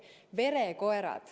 Verekoerad!